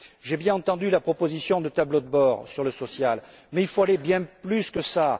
J'ai bien entendu la proposition de tableau de bord sur le social, mais il faut aller bien plus loin que cela.